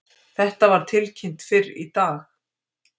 Þetta var tilkynnt fyrr í dag